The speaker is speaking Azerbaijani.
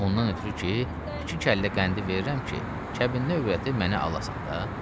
Ondan ötrü ki, iki kəllə qəndi verirəm ki, kəbinli övrəti mənə alasan da.